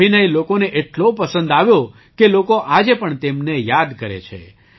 નો અભિનય લોકોને એટલો પસંદ આવ્યો કે લોકો આજે પણ તેમને યાદ કરે છે